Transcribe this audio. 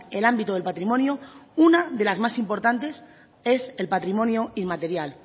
el ámbito del patrimonio una de las más importantes es el patrimonio inmaterial